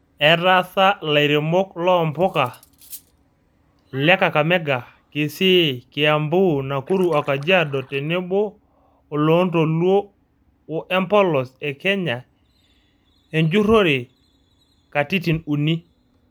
Etaasa lairemok loo mpuka le Kakamega, kisii, kiambu, nakuru o kajiado tenebo oloontoluo o empolos e Kenya enjurore katitin uni.